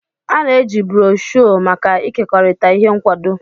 A na-eji broshuọ maka ịkekọrịta ihe nkwado.